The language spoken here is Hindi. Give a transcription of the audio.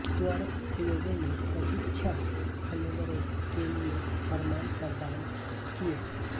त्वरक प्रयोगों ने सभी छह फ्लेवरों के लिए प्रमाण प्रदान किए